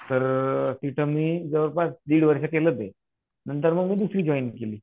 तर तिथं मी जवळपास दीड वर्षे केले ते नंतर मी दुसरी जॉईन केली.